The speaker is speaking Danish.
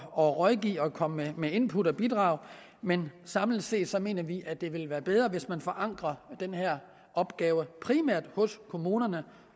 at rådgive og komme med input og bidrag men samlet set mener vi at det ville være bedre hvis man forankrede den her opgave primært i kommunerne